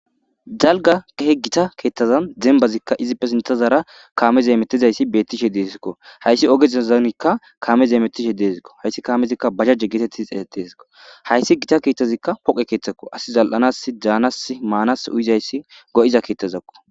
dalga kahe gita keethtazan zembazikka izippe sintazaara kaame zeemetizayssi beettishe deesikko hayssi oge zezanikka kaame zeemetishe deezikko hayssi kaamezikka bajajje geetettiz eeeteskko hayssi gita keeththazikka poqe keeththakko asi zal7anas daanas maanas uyizayssi go7iza keetthazakko